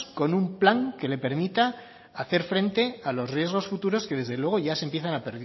con un plan que le permita hacer frente a los riesgos futuros que desde luego ya se empiezan a